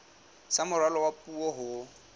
sa moralo wa puo ho